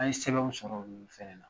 An ye sɛbɛnw sɔrɔ, olu fɛnɛ na.